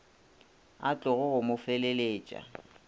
a tlogo go mo feleletša